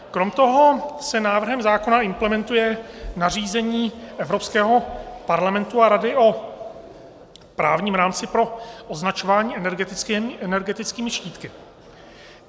Kromě toho se návrhem zákona implementuje nařízení Evropského parlamentu a Rady o právním rámci pro označování energetickými štítky.